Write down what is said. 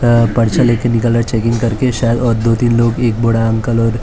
पर्चा लेके निकाल रहा चेकिंग करके शायद दोतीन लोग एक बूढ़ा अंकल और एक बच्चा--